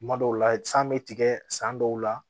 Kuma dɔw la san bɛ tigɛ san dɔw la